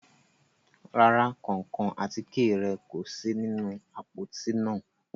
Ràrà, kánkán àtike rẹ ko si ninu apoti naa